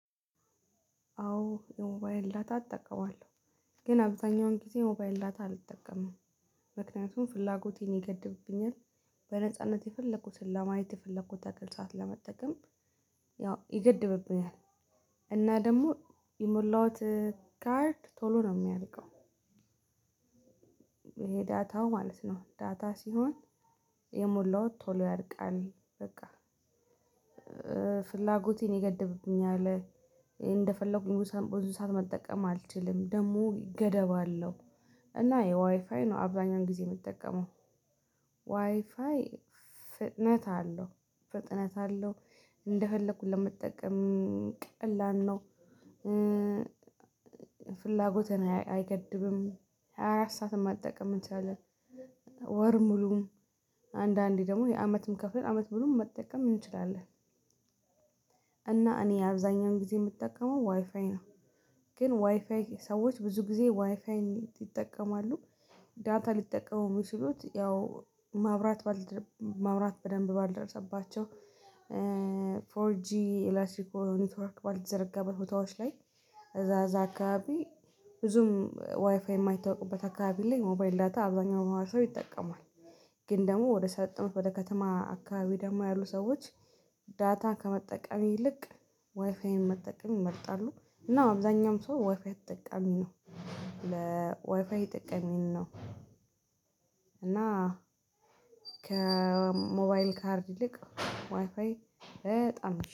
አዎ የሞባይ ዳታ እጠቀማለሁ። ግን አብዛኛውን ጊዜ የሞባይል ዳታ አልጠቀምም። ምክንያቱም ፍላጎቴን ይገድብብኛል። በነጻነት የፈለኩትን ለማየት የፈለኩትን ሰዓት ለመጠቀም ያው ይገድብብኛል እና ደግሞ የሞላሁት ካርድ ቶሎ ነው የሚያልቀው ይሄ ዳታው ማለት ነው ዳታ ሲሆን የሞላው ቶሎ ያልቃል በቃ ፍላጎቴን የገደብኩኝ አለ :እንደፈለኩኝ ብዙ ሰዓት መጠቀም አልችልም። ደግሞ ገደብ አለው እና የዋይፋይ ነው አብዛኛውን ጊዜ የምጠቀመው። ዋይፋይ ፍጥነት አለው ፍጥነት አለው እንደፈለኩኝ ለመጠቀም ቀላል ነው፣ ፍላጎትን አይገድብም ሃያ አራት ሰዓትን መጠቀም እንችላለን። ወር ሙሉም አንዳንዴ ደግሞ የአመትም ከፍለን አመት ሙሉ መጠቀም እንችላለን። እና እኔ አብዛኛውን ጊዜ የምጠቀመው ዋይፋይ ነው። ግን ዋይፋይ ሰዎች ብዙ ጊዜ ዋይፋይ ይጠቀማሉ። ዳታ ሊጠቀሙ የሚችሉት ያው ማብራት ያው በደንብ ባልደረሰባቸው ፎር ጂ ኤላስትሪ ኔትወርክ ባልተዘረጋ በሁታዎች ላይ እዛ እዛ አካባቢ ብዙም ዋይፋይ የማይታወቅበት አካባቢ ላይ ሞባይል ዳታ አብዛኛው ሰው ይጠቀማል ግን ደግሞ ወደ ወደ ከተማ አካባቢ ደግሞ ያሉ ሰዎች ዳታ ከመጠቀም ይልቅ ዋይፋይን መጠቀም ይመርጣሉ እና አብዛኛውም ሰው ዋይፋይ ተጠቃሚ ነው ለዋይፋይ ተጠቃሚ ነው እና ከሞባይል ካርድ ይልቅ ዋይፋይ በጣም